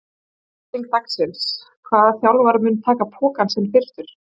Spurning dagsins er: Hvaða þjálfari mun taka pokann sinn fyrstur?